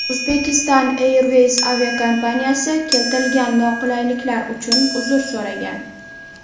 Uzbekistan Airways aviakompaniyasi keltirilgan noqulayliklar uchun uzr so‘ragan.